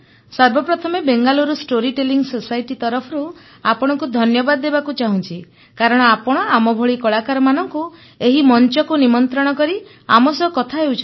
ସର୍ବପ୍ରଥମେ Bengaluru story telling society ତରଫରୁ ଆପଣଙ୍କୁ ଧନ୍ୟବାଦ ଦେବାକୁ ଚାହୁଁଛି କାରଣ ଆପଣ ଆମଭଳି କଳାକାରମାନଙ୍କୁ ଏହି ମଂଚକୁ ନିମନ୍ତ୍ରଣ କରି ଆମ ସହ କଥା ହେଉଛନ୍ତି